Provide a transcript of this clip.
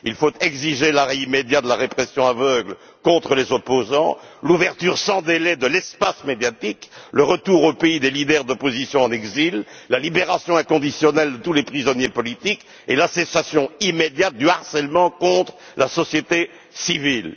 Il faut exiger l'arrêt immédiat de la répression aveugle contre les opposants, l'ouverture sans délai de l'espace médiatique, le retour au pays des leaders d'opposition en exil, la libération inconditionnelle de tous les prisonniers politiques et l'arrêt immédiat du harcèlement contre la société civile.